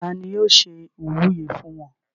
ta ni yóò ṣe ìwúyè fún wọn?